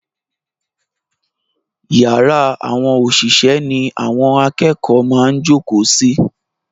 Yàrá àwọn òṣìṣẹ́ ni àwọn akẹ́kọ̀ọ́ máa ń jókòó sí.